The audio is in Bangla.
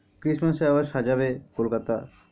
Christmass এ আবার সাজাবে কোলকাতা।